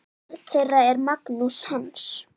Barn þeirra er Magnús Hans.